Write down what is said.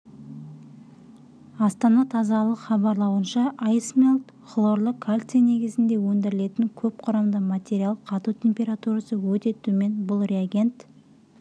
астана тазалық хабарлауынша айсмелт хлорлы кальций негізінде өндірілетін көпқұрамды материал қату температурасы өте төмен бұл реагент